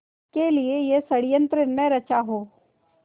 के लिए यह षड़यंत्र न रचा हो